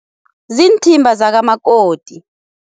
Ziinthimba zakamakoti.